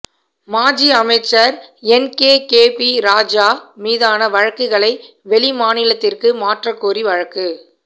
மாஜி அமைச்சர் என்கேகேபி ராஜா மீதான வழக்குகளை வெளிமாநிலத்திற்கு மாற்றக் கோரி வழக்கு